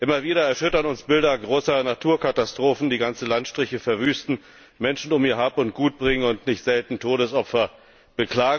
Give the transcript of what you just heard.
Immer wieder erschüttern uns Bilder großer Naturkatastrophen, die ganze Landstriche verwüsten, Menschen um ihr Hab und Gut bringen und nicht selten Todesopfer fordern.